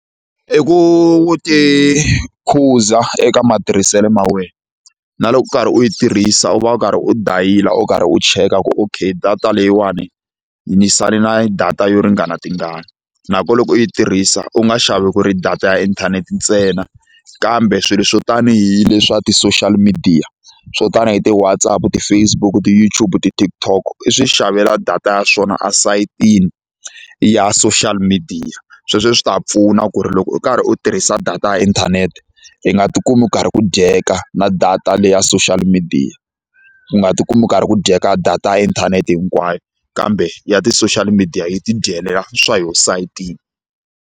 I ku tikhuza eka matirhiselo ma wena na loko u karhi u yi tirhisa u va u karhi u dayila u karhi u cheka ku ok data leyiwani yi ni sale na data yo ringana tingani nakona loko u yi tirhisa u nga xavi ku ri data ya inthanete ntsena kambe swilo swo tanihi leswa ti-social media swo tanihi ti-WhatsaApp ti-Facebook ti-YouTube ti-TikTok i swi xavela data ya swona esayitini ya social media sweswo swi ta pfuna ku ri loko u karhi u tirhisa data ya inthanete i nga ti kumi u karhi ku dyeka na data leya social media u nga ti kumi ku karhi ku dyeka data ya inthanete hinkwayo kambe ya ti-social media yi ti dyela swa yo esayitini.